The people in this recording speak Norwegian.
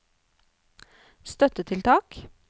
støttetiltak